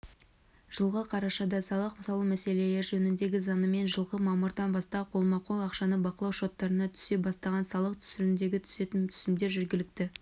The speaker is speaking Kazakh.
жылғы қарашада салық салу мәселелері жөніндегі заңымен жылғы мамырдан бастап қолма-қол ақшаны бақылау шоттарына түсе бастаған салық түрінен түсетін түсімдер жергілікті